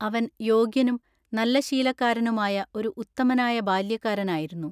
അവൻ യോഗ്യനും നല്ലശീലക്കാരനുമായ ഒരു ഉത്തമനായ ബാല്യക്കാരനായിരുന്നു.